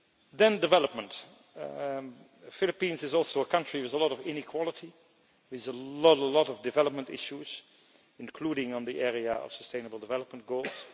Then development the Philippines is also a country with a lot of inequality. There are a lot of development issues, including on the area of sustainable development goals.